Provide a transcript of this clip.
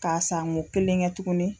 K'a san ko kelen kɛ tugunni.